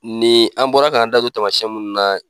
Nin an bɔra k'an da don tamasiyɛn munnu na